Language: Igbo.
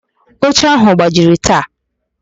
Oche áhụ̀ gbajiri taa.